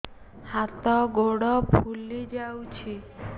ହାତ ଗୋଡ଼ ଫୁଲି ଯାଉଛି